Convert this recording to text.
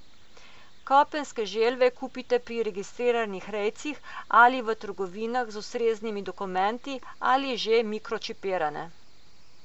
Kopenske želve kupite pri registriranih rejcih, ali v trgovinah z ustreznimi dokumenti, ali že mikročipirane.